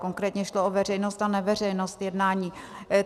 Konkrétně šlo o veřejnost a neveřejnost jednání.